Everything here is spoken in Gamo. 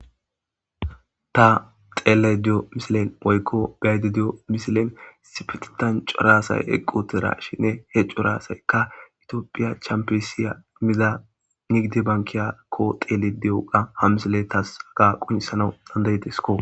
Ta dhelayda de'iyo missilen woyko gayda diyo missilen issipetetan c'ora asay eqiutirashin he c'ora asayka itopia champesliya Mira nigdi bankiya kophidi diyoga ha missiley tas qonc'isanw danda'desko.